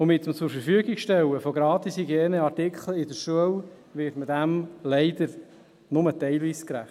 Mit dem Zurverfügungstellen von Gratishygieneartikeln in der Schule wird man dem leider nur teilweise gerecht.